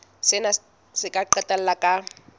sena se ka qetella ka